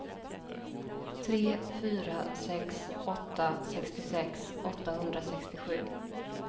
tre fyra sex åtta sextiosex åttahundrasextiosju